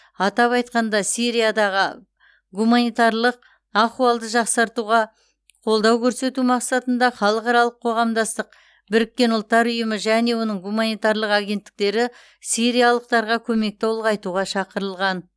атап айтқанда сириядағы гуманитарлық ахуалды жақсартуға қолдау көрсету мақсатында халықаралық қоғамдастық біріккен ұлттар ұйымы және оның гуманитарлық агенттіктері сириялықтарға көмекті ұлғайтуға шақырылған